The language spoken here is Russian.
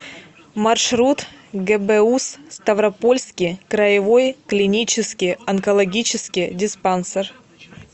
маршрут гбуз ставропольский краевой клинический онкологический диспансер